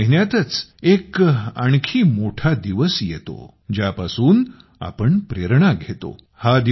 डिसेंबर महिन्यातच एक आणखी मोठा दिवस आपल्या समोर येतो ज्या पासून आपण प्रेरणा घेतो